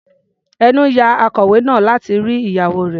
Ẹnú ya akọlwé náà láti rí ìyàwó rẹ̀.